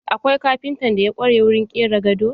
Akwai kafintan da ya ƙware wurin ƙera gado.